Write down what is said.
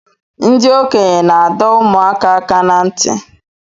Ndi okenye na-ado ụmụaka aka na nti